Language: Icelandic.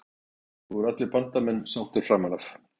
Um þessa skýringu voru allir Bandamenn sáttir framan af.